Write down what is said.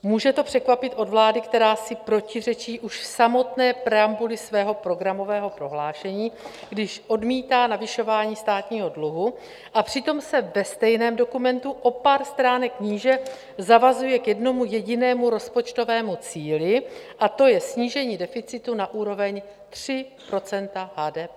Může to překvapit od vlády, která si protiřečí už v samotné preambuli svého programového prohlášení, když odmítá navyšování státního dluhu, a přitom se ve stejném dokumentu o pár stránek níže zavazuje k jednomu jedinému rozpočtovému cíli, a to je snížení deficitu na úroveň 3 % HDP?